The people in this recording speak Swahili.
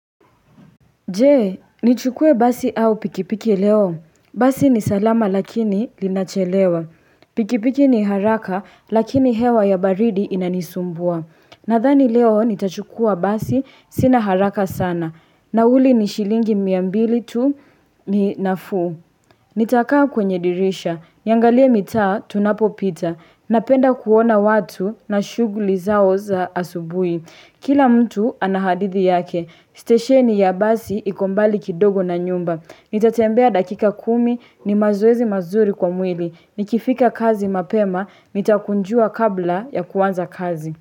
Je, nichukue basi au pikipiki leo? Basi ni salama lakini linachelewa. Pikipiki ni haraka lakini hewa ya baridi inanisumbua. Nadhani leo nitachukua basi sina haraka sana. Nauli ni shilingi mia mbili tu ni nafuu. Nitakaa kwenye dirisha. Niangalie mitaa tunapopita. Napenda kuona watu na shuguli zao za asubuhi. Kila mtu anahadithi yake. Stesheni ya basi iko mbali kidogo na nyumba. Nitatembea dakika kumi ni mazoezi mazuri kwa mwili. Nikifika kazi mapema, nitakunjua kabla ya kuanza kazi.